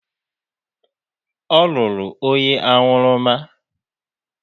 Ọ lụrụ onye aṅụrụma.